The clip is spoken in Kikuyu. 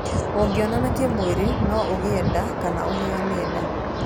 Ũngĩonana kĩmwĩrĩ no ũgĩe nda kana ũheane nda.